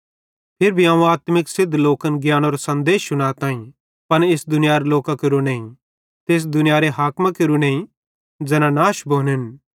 फिरी भी अवं आत्मिक सिद्ध लोकन ज्ञानेरो सन्देश शुनाताईं पन इस दुनियारे लोकां केरो नईं ते इस दुनियारे हाकिमां केरू नईं ज़ैना नाश भोनेन